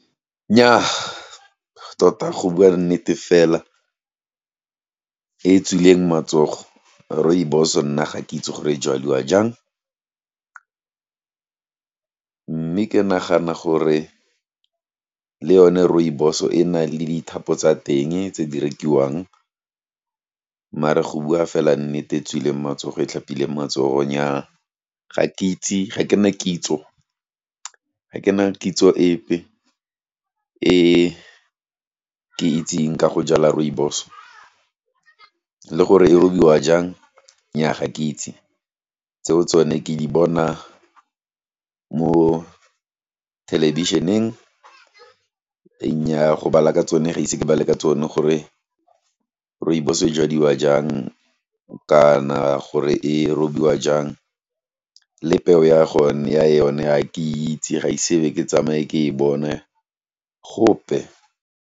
Nnyaa tota go bua nnete fela, e tswileng matsogo, rooibos-o nna, ga ke itse gore e jaliwa jang, mme ke nagana gore, le yone rooibos-o e na le dithapo tsa teng, tse di rekiwang, mare go bua fela nnete e tswileng matsogo, e tlhapileng matsogo, nnyaa ga ke itse ga ke ne kitso epe, e ke itseng ka go jala rooibos, le gore e robiwa jang, nnyaa ga ke itse, tseo tsone ke di bona mo thelebisheneng, nnyaa go bala ka tsone, ga ise ke bale ka tsone gore rooibos e jadiwa jang, kana gore e robiwa jang le peo ya yone, ga ke itse, ga ise ke tsamaye ke e bona, gope.